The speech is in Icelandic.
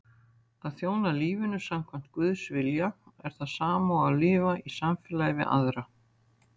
Að þjóna lífinu samkvæmt Guðs vilja er það sama og lifa í samfélagi við aðra.